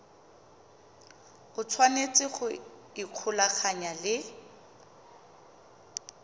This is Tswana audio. o tshwanetse go ikgolaganya le